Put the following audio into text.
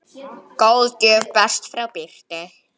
Góð gjöf barst frá Birtu.